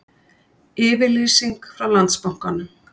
Yfirlýsing frá Landsbankanum